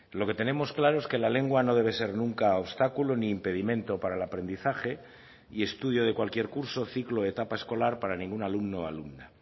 lo que tenemos claro es que la lengua no debe ser nunca obstáculo ni impedimento para el aprendizaje y estudio de cualquier curso ciclo o etapa escolar para ningún alumno o alumna